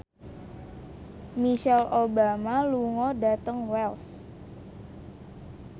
Michelle Obama lunga dhateng Wells